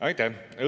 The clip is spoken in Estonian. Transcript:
Aitäh!